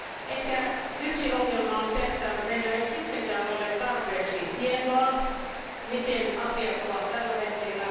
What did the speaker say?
Ehkä yksi ongelma on se, että meillä ei sittenkään ole tarpeeksi tietoa siitä, miten asiat ovat tällä hetkellä.